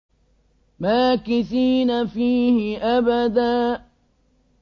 مَّاكِثِينَ فِيهِ أَبَدًا